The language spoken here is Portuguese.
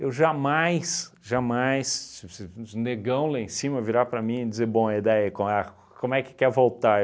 Eu jamais, jamais, se se se um negão lá em cima virar para mim e dizer, bom, e daí, qual é como é que quer voltar?